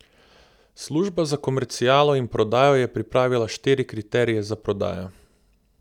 Služba za komercialo in prodajo je pripravila štiri kriterije za prodajo.